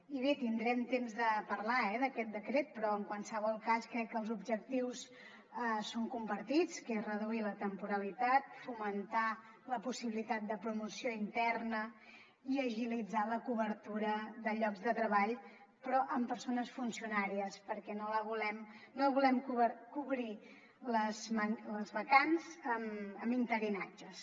i bé tindrem temps de parlar eh d’aquest decret però en qualsevol cas crec que els objectius són compartits que és reduir la temporalitat fomentar la possibilitat de promoció interna i agilitzar la cobertura de llocs de treball però amb persones funcionàries perquè no volem cobrir les vacants amb interinatges